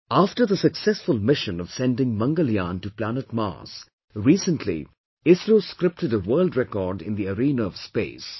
After the successful mission of sending Mangalyaan to planet Mars, recently ISRO scripted a world record in the arena of space